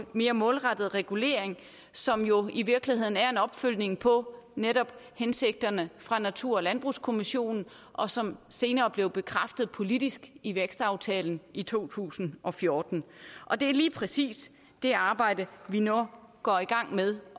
mere målrettet regulering som jo i virkeligheden er en opfølgning på netop hensigterne fra natur og landbrugskommissionen og som senere blev bekræftet politisk i vækstaftalen i to tusind og fjorten og det er lige præcis det arbejde vi nu går i gang med